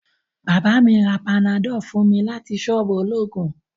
Baba mi ra panadol fun mi lati soobu ologun